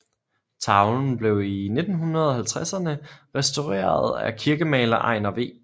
Tavlen blev i 1950érne restaureret af kirkemaler Einar V